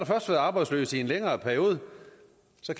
først været arbejdsløs i en længere periode